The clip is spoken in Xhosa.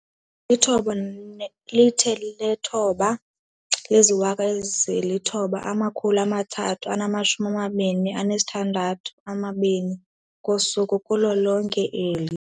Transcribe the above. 9 032 622 ngosuku kulo lonke eli.